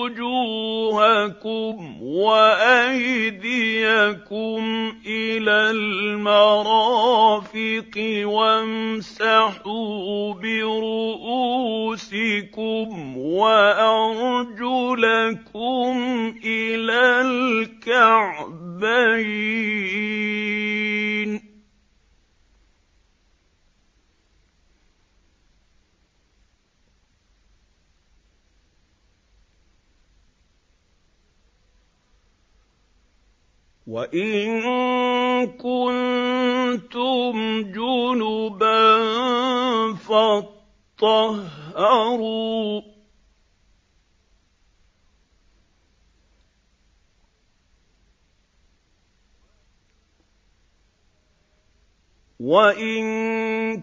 وُجُوهَكُمْ وَأَيْدِيَكُمْ إِلَى الْمَرَافِقِ وَامْسَحُوا بِرُءُوسِكُمْ وَأَرْجُلَكُمْ إِلَى الْكَعْبَيْنِ ۚ وَإِن كُنتُمْ جُنُبًا فَاطَّهَّرُوا ۚ وَإِن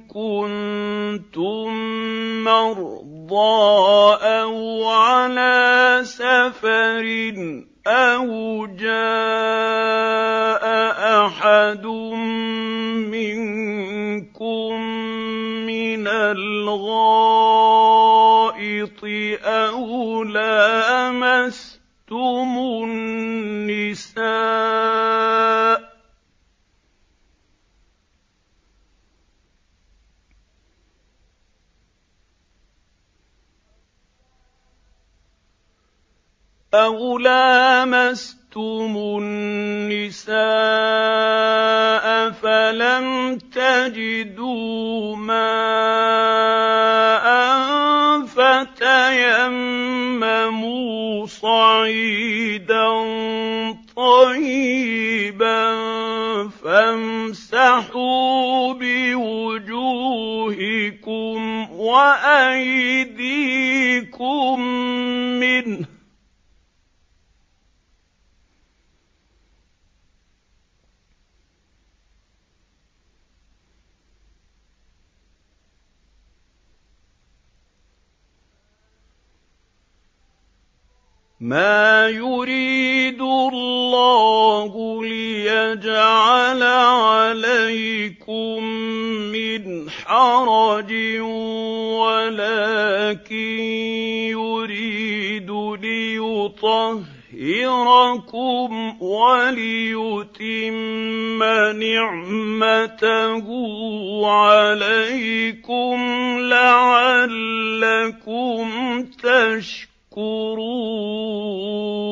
كُنتُم مَّرْضَىٰ أَوْ عَلَىٰ سَفَرٍ أَوْ جَاءَ أَحَدٌ مِّنكُم مِّنَ الْغَائِطِ أَوْ لَامَسْتُمُ النِّسَاءَ فَلَمْ تَجِدُوا مَاءً فَتَيَمَّمُوا صَعِيدًا طَيِّبًا فَامْسَحُوا بِوُجُوهِكُمْ وَأَيْدِيكُم مِّنْهُ ۚ مَا يُرِيدُ اللَّهُ لِيَجْعَلَ عَلَيْكُم مِّنْ حَرَجٍ وَلَٰكِن يُرِيدُ لِيُطَهِّرَكُمْ وَلِيُتِمَّ نِعْمَتَهُ عَلَيْكُمْ لَعَلَّكُمْ تَشْكُرُونَ